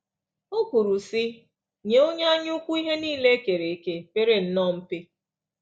O kwuru, sị: “Nye onye anyaukwu ihe niile e kere eke pere nnọọ mpe